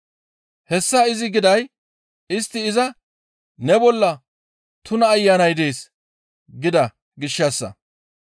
Hessa izi giday istti iza, «Ne bolla tuna ayanay dees» gida gishshassa.